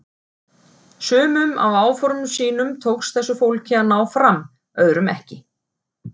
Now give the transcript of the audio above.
Sumum af áformum sínum tókst þessu fólki að ná fram, öðrum ekki.